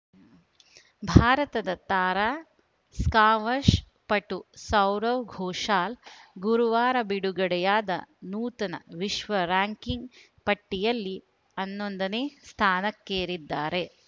ಭಾರತದ ತಾರಾ ಸ್ಕಾ್ವಷ್‌ ಪಟು ಸೌರವ್‌ ಘೋಷಾಲ್‌ ಗುರುವಾರ ಬಿಡುಗಡೆಯಾದ ನೂತನ ವಿಶ್ವ ರ‍್ಯಾಂಕ್‌ಕಿಂಗ್‌ ಪಟ್ಟಿಯಲ್ಲಿ ಹನ್ನೊಂದನೇ ಸ್ಥಾನಕ್ಕೇರಿದ್ದಾರೆ